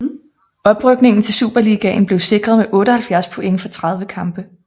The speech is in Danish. Oprykningen til Superligaen blev sikret med 78 point for 30 kampe